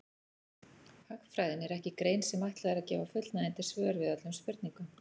Hagfræðin er ekki grein sem ætlað er að gefa fullnægjandi svör við öllum spurningum.